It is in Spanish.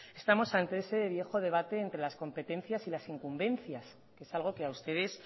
estamos ante ese viejo debate entre las competencias y las incumbencias que es algo que a ustedes